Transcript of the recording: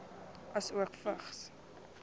asook vigs